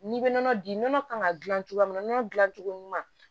N'i bɛ nɔnɔ di nɔnɔ kan ka dilan cogoya min na nɔnɔ dilan cogo ɲuman